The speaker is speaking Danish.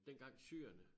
Dengang syrerne